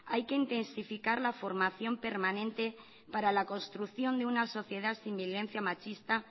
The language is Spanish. hay que intensificar la formación permanente para la construcción de una sociedad sin violencia machista